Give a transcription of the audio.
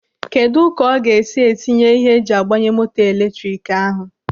Kedụ ka ọ ga-esi etinye ihe eji agbanye moto eletrik ahụ?